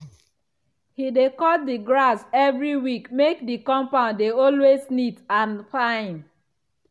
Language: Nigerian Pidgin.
he dey cut the grass every week make the compound dey always neat and fine.